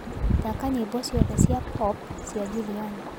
thaka nyĩmbo cĩothe cĩa pop cĩa juliani